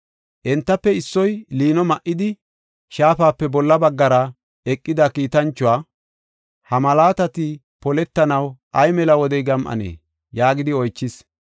Entafe issoy liino ma7idi, shaafape bolla baggara eqida kiitanchuwa, “Ha malaatati poletanaw ay mela wode gam7anee?” yaagidi oychis.